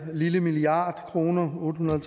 lille milliard kroner otte hundrede og